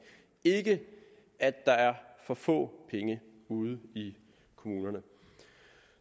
ikke at der er for få penge ude i kommunerne